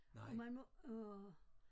Og man må åh